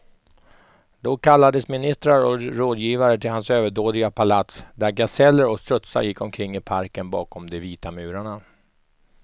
Då kallades ministrar och rådgivare till hans överdådiga palats, där gaseller och strutsar gick omkring i parken bakom de vita murarna.